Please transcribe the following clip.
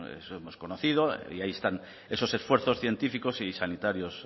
eso hemos conocido y ahí están esos esfuerzos científicos y sanitarios